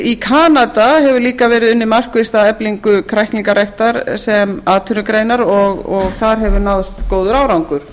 í kanada hefur líka verið unnið markvisst að eflingu kræklingaræktar sem atvinnugreinar og þar hefur náðst góður árangur